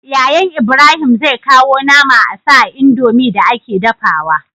Yayan Ibrahim zai kawo nama asa a indomie da ake dafawa